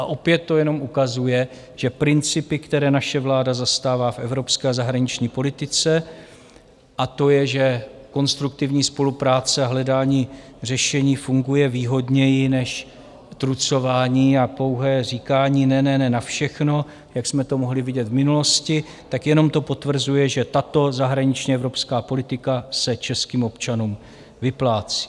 A opět to jenom ukazuje, že principy, které naše vláda zastává v evropské a zahraniční politice - a to je, že konstruktivní spolupráce a hledání řešení funguje výhodněji než trucování a pouhé říkání ne, ne, ne na všechno, jak jsme to mohli vidět v minulosti -, tak jenom to potvrzuje, že tato zahraniční evropská politika se českým občanům vyplácí.